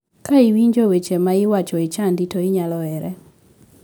Ka iwinjo weche ma iwacho e chadi to inyalo here.